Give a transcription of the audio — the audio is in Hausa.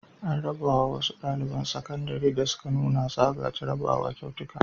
An raba wa wasu ɗaliban sakandare da suka nuna hazaƙa a jarrabawa kyautuka.